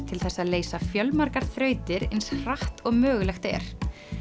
til þess að leysa fjölmargar þrautir eins hratt og mögulegt er